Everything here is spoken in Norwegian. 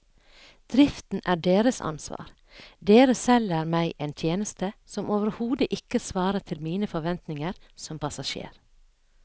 Driften er deres ansvar, dere selger meg en tjeneste som overhodet ikke svarer til mine forventninger som passasjer.